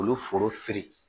Olu foro fili